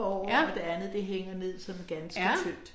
Ja. Ja